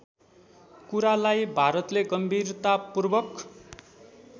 कुरालाई भारतले गम्भीरतापूर्वक